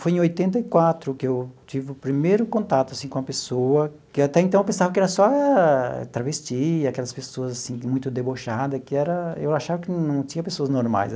Foi em oitenta e quatro que eu tive o primeiro contato assim com a pessoa, que até então eu pensava que era só travesti, aquelas pessoas assim muito debochada, que era eu achava que não tinha pessoas normais.